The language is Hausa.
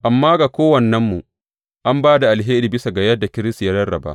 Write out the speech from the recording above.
Amma ga kowannenmu an ba da alheri bisa ga yadda Kiristi ya rarraba.